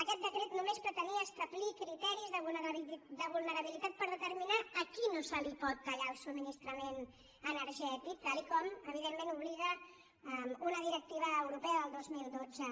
aquest decret només pretenia establir criteris de vulnerabilitat per determinar a qui no se li pot tallar el subministrament energètic tal com evidentment obliga una directiva europea del dos mil dotze